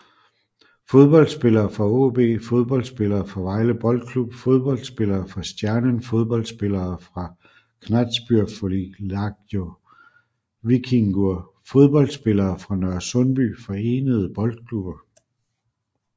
Fodboldspillere fra AaB Fodboldspillere fra Vejle Boldklub Fodboldspillere fra Stjarnan Fodboldspillere fra Knattspyrnufélagið Víkingur Fodboldspillere fra Nørresundby Forenede Boldklubber